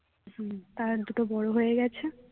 হম তার দুটো বড় হয়ে গেছে